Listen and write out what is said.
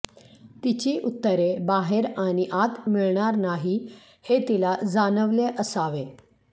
तिची उत्तरे बाहेर आणि आत मिळणार नाही हे तिला जाणवले असावे